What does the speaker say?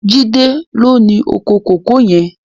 Jide ló ni ókó kókòó yèn